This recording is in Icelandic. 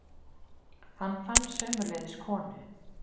En fátt er svo með öllu illt, að ekki boði nokkuð gott.